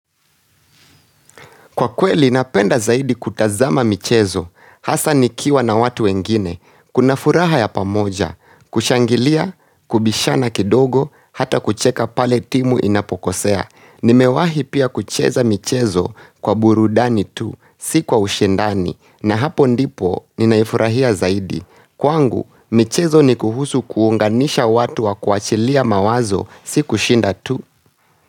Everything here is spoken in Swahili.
Kwa kweli, napenda zaidi kutazama michezo, hasa nikiwa na watu wengine, kuna furaha ya pamoja, kushangilia, kubishana kidogo, hata kucheka pale timu inapokosea. Nimewahi pia kucheza michezo kwa burudani tu, si kwa ushindani, na hapo ndipo, ninaifurahia zaidi. Kwangu, michezo ni kuhusu kuunganisha watu wa kuachilia mawazo, si kushinda tu.